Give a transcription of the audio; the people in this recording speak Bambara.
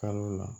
Kalo la